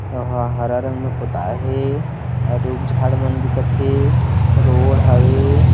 वहाँ हरा रंग में पोता हे रुक झाड़ मन दिखत हे रोड हावे --